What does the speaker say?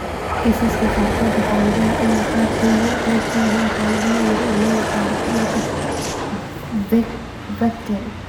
Kiisaska qaarkood waxa laga yaabaa inay qayb ka yihiin xaalad naadir ah oo loo yaqaan ururka VACTERL.